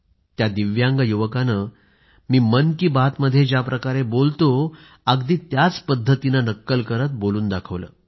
त्या दिव्यांग युवकानं मी मन की बात मध्ये ज्याप्रकारे बोलतो अगदी त्याच पद्धतीनं नक्कल करीत बोलून दाखवलं